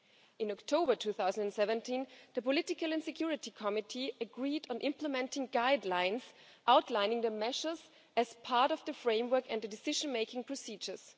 In October 2017, the Political and Security Committee agreed on implementing guidelines outlining the measures as part of the framework and decision-making procedures.